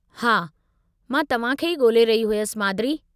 हा, मां तव्हां खे ई ॻोल्हे रही हुयसि, माद्री।